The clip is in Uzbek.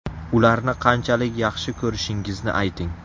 Ularni qanchalar yaxshi ko‘rishingizni ayting.